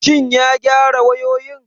Shin ya gyara wayoyin?